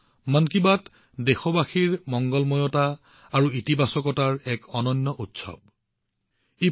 মন কী বাত দেশবাসীৰ মংগলময়তা আৰু ইতিবাচকতাৰ এক অনন্য উৎসৱ হৈ পৰিছে